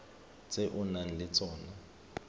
tse o nang le tsona